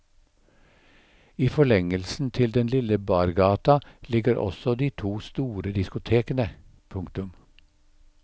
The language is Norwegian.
I forlengelsen til den lille bargata ligger også de to store diskotekene. punktum